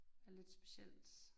Er lidt specielt